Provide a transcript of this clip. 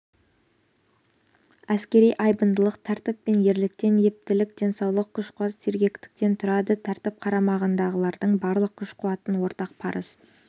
әскери айбындылық тәртіп пен ерліктен ептілік денсаулық күш-қуат сергектіктен тұрады тәртіп қарамағындағылардың барлық күш-қуатын ортақ парыз